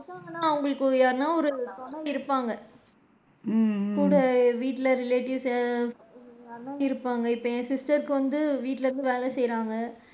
அவுங்களுக்கு ஒரு யாருன்னா ஒரு துணை இருப்பாங்க கூட வீட்ல relatives யாராவது இருப்பாங்க இப்ப என் sister கு வந்து வீட்ல வந்து வேலை செய்ராங்க,